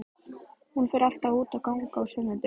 Hún fer alltaf út að ganga á sunnudögum.